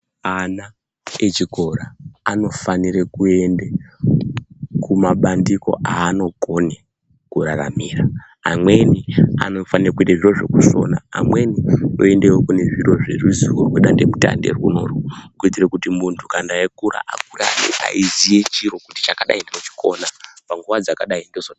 Ana echikora anofanire kuenda kumabandiko aanokone kuraramira amweni anofanire kuite zviro zvokusona amwenioende kune zviro zvEruziwo rwedande mutande kuitire kuti muntu echikura ange eiziye chiro